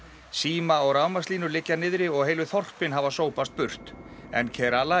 síma og rafmagnslínur liggja niðri og heilu þorpin hafa sópast burt en